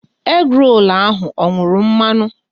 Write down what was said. Egi rolu ahụ ọ nwuru mmanụ?